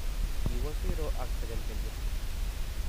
Kiwo siro ak tekelkelye.